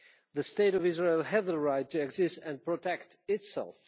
The State of Israel has the right to exist and protect itself.